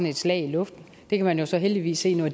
et slag i luften det kan man jo så heldigvis se nu at